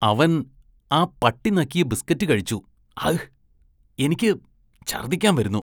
അവന്‍ ആ പട്ടി നക്കിയ ബിസ്‌കറ്റ് കഴിച്ചു, അഹ്, എനിക്ക് ഛര്‍ദ്ദിക്കാന്‍ വരുന്നു.